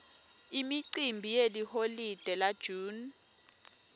imicimbi yeliholide la june